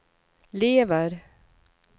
lever